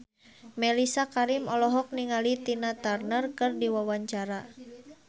Mellisa Karim olohok ningali Tina Turner keur diwawancara